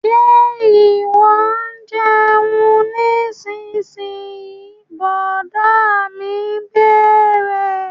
Ṣe ìwọ ń jẹun nísinyí? Brọ̀dá mi bẹ̀rẹ̀